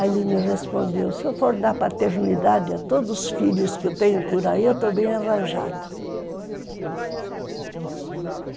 Aí ele me respondeu, se eu for dar paternidade a todos os filhos que eu tenho por aí, eu estou bem arranjado.